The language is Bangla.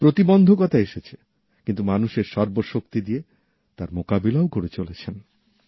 প্রতিবন্ধকতা এসেছে কিন্তু মানুষ সর্ব শক্তি দিয়ে তার মোকাবিলাও করে চলেছেন